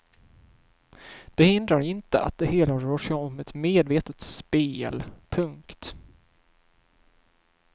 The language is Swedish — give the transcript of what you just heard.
Det hindrar inte att det hela rör sig om ett medvetet spel. punkt